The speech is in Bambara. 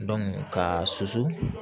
ka susu